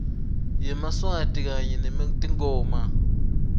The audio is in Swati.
kwelashwa masinyane nanobe